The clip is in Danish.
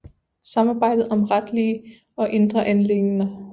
Samarbejdet om retlige og indre anliggender